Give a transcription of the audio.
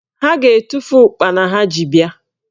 Ha ga-etufu ụkpana ha ji bịa